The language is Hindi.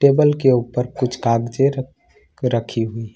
टेबल के ऊपर कुछ कागजे रख रखी हुई है।